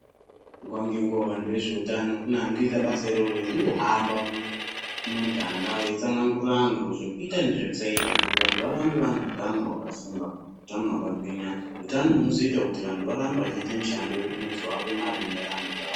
Nguwa ngenguwa vantu vezvehutano kune anotoita basa iroro rekungohamba mumuganga beyitsanagurira vantuu zvekuita nezvekusaita kuti anhu varambe vaine hutano hwakasimba ,hutano hwakagwinya, hutano hunozoita kuti anhu varambe vachiite mishando inozovapa marimuntaramo dzavo.